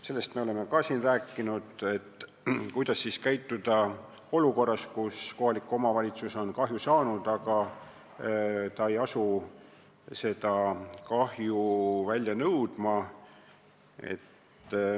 Sellest me oleme ka siin saalis rääkinud, mida teha olukorras, kus kohalik omavalitsus on kahju saanud, aga ei asu kahju välja nõudma.